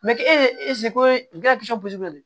ese ko ye